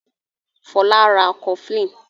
Fola ń rá cofflin